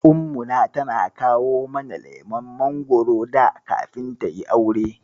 Ummuna tana kawo mana lemon mangoro da kafin tayi aure.